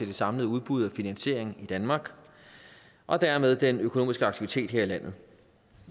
det samlede udbud af finansiering i danmark og dermed den økonomiske aktivitet her i landet